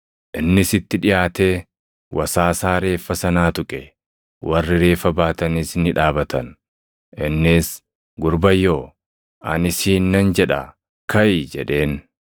Innis itti dhiʼaatee wasaasaa reeffa sanaa tuqe; warri reeffa baatanis ni dhaabatan. Innis, “Gurbayyoo, ani siin nan jedhaa, kaʼi!” jedheen.